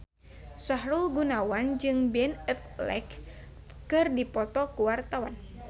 Sahrul Gunawan jeung Ben Affleck keur dipoto ku wartawan